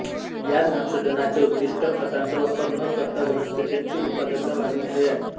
या संशोधनाचे उद्दीष्ट खतांचा वापर न करता वनस्पतींची उत्पादकता वाढविणे हे आहे